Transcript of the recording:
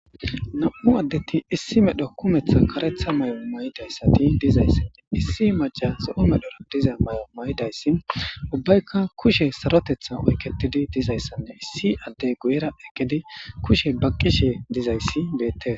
Nam7u addeti issi medho kumeththa karetha mayoo maydayssati dizayssanne issi maca so7o medhora diza may7o may7idayssi ubbayka kushe sarotetha oykketidi dizayssanne issi adde guyera ekedi kushe baqqishe dizayssi beette.